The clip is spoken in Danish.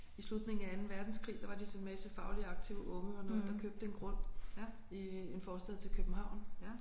I slutningen af anden verdenskrig der var de sådan en masse fagligt aktive unge og nogen der købte en grund i en forstad til København